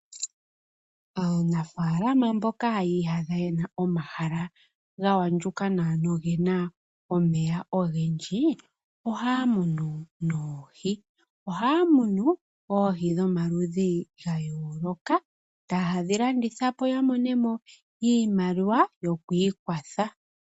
Aanafaalama mboka yi iyadha yena omahala ga andjuka nawa nogena omeya ogendji. Ohaya munu oohi . Ohaya munu oohi dhomaludhi ga yooloka . Etayedhi landithapo ya monemo iimaliwa yoku ikwatha.